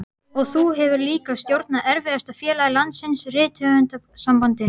Og þú hefur líka stjórnað erfiðasta félagi landsins, Rithöfundasambandinu.